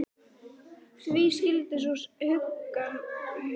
Marteinn varð til andsvara: Því skyldi sú huggun verða hirt?